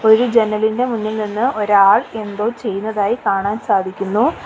ഒരു ജനലിന്റെ മുന്നിൽ നിന്ന് ഒരാൾ എന്തോ ചെയ്യുന്നതായി കാണാൻ സാധിക്കുന്നു.